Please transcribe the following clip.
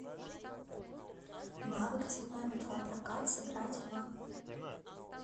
навык цветной металлопрокат сыграть в